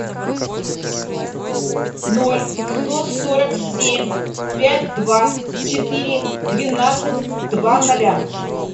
ноль сто сорок семь пять два четыре двенадцать два ноля